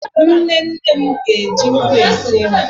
nne nne m ga-eji nkụ esi nri